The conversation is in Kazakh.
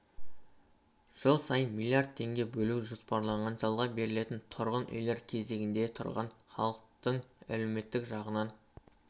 жыл сайын млрд теңге бөлу жоспарланған жалға берілетін тұрғын үйлер кезегінде тұрған халықтың әлеуметтік жағынан